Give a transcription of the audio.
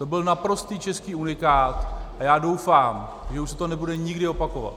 To byl naprostý český unikát a já doufám, že už se to nebude nikdy opakovat.